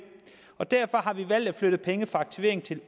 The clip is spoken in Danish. og derfor har vi valgt at flytte penge fra aktivering til